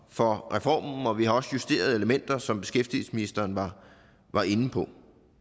for reformen og vi har også justeret elementer som beskæftigelsesministeren var inde på